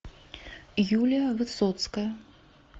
юлия высоцкая